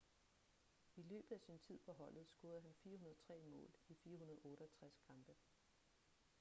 i løbet af sin tid på holdet scorede han 403 mål i 468 kampe